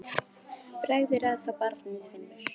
Bragð er að þá barnið finnur!